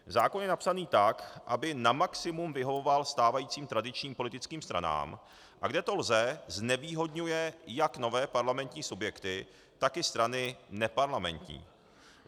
Zákon je napsaný tak, aby na maximum vyhovoval stávajícím tradičním politickým stranám, a kde to lze, znevýhodňuje jak nové parlamentní subjekty, tak i strany neparlamentní.